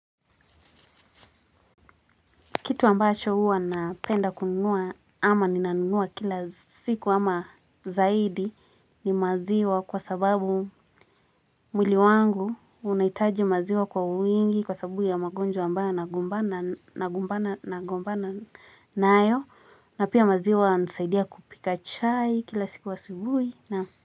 Kitu ambacho huwa napenda kununua ama ni nanunua kila siku ama zaidi ni maziwa kwa sababu mwili wangu unaitaji maziwa kwa uwingi kwa sababu ya magonjwa ambayo na gumbana na gumbana na gumbana na ayo. Na pia maziwa hunisaidia kupika chai kila siku asubuhi naam.